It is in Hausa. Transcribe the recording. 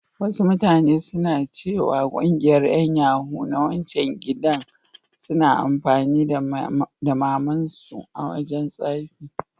Wasu mutane suna ciwa ƙungiyar yan yahoo na wancan gidan suna amfani da mamar su a wajan tsafi.